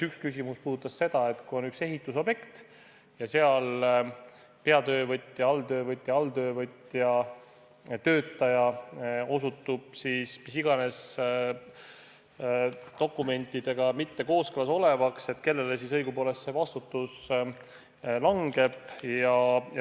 Üks küsimus puudutas seda, et kui on üks ehitusobjekt ja seal on peatöövõtja, alltöövõtja, aga alltöövõtja töötaja osutub mis iganes dokumentidega mitte kooskõlas olevaks, siis kellele siis õigupoolest see vastutus langeb.